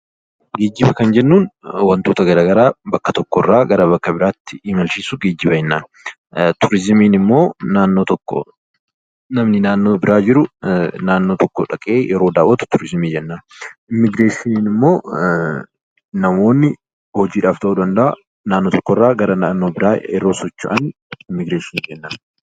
Geejiba kan jennuun waantota garaagaraa bakka tokko irraa gara bakka biraatti kan imalchiisu geejiba jennaan. Turizimii jechuun immoo naannoo tokkoo namni naannoo biraa jiru naannoo tokko yeroo dhaqee daawwatu turizimii jennaan. Immigireeshiniin immoo namoonni hojii dhabdoota ta'uu danda'a, naannoo tokko irraa yeroo socho'an immigireeshinii jennaan.